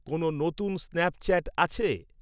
কোন নতুন স্ন্যাপচ্যাট আছে?